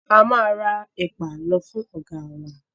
A máa ra ẹ̀pà lọ fún ọ̀gáa wa.